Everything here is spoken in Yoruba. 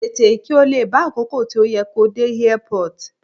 Tètè, kí ó lè bá àkókò tí ó yẹ kó dé Airport.